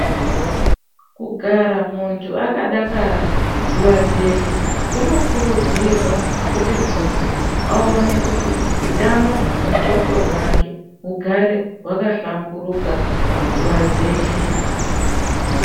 Kugara muntu akadakara nguwa dzeshe kunokurudzirwa kuti muntu aone kuti hutano hwemundxondo mwake hugare hwakahlamburuka panguwa dzeshe .